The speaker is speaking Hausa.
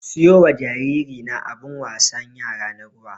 Siyo wa jariri na abun wasan yara na ruwa.